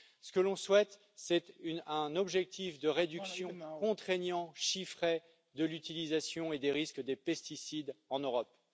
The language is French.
Ce que l'on souhaite, c'est un objectif de réduction contraignant chiffré de l'utilisation et des risques des pesticides en Europe.